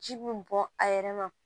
Ji bɛ bɔn a yɛrɛ ma